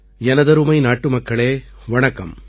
எனதருமை நாட்டுமக்களே வணக்கம்